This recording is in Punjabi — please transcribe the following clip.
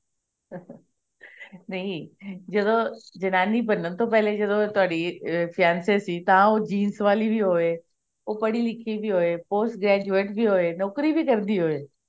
ਨਹੀਂ ਜਦੋਂ ਜਨਾਨੀ ਬਣਨ ਤੋਂ ਪਹਿਲੇ ਜਦੋਂ ਤੁਹਾਡੇ fiancee ਸੀ ਤਾਂ ਉਹ jeans ਵਾਲੀ ਵੀ ਹੋਵੇ ਉਹ ਪੜ੍ਹੀ ਲਿਖੀ ਵੀ post graduate ਵੀ ਹੋਵੇ ਨੋਕਰੀ ਵੀ ਕਰਦੀ ਹੋਵੇ